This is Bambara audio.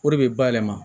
O de bɛ bayɛlɛma